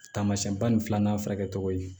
Tamasiyɛn ba ni filanan furakɛ tɔgɔ ye